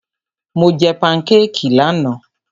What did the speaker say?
Mo jẹ pankékì lánàá.